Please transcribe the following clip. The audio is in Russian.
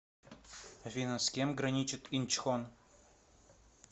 афина с кем граничит инчхон